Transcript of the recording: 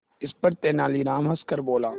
इस पर तेनालीराम हंसकर बोला